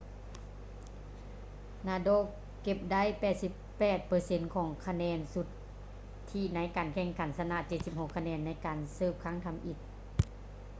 nadal ເກັບໄດ້ 88% ຂອງຄະແນນສຸດທິໃນການແຂ່ງຂັນ ຊະນະ 76 ຄະແນນໃນການເສີບຄັ້ງທຳອິດ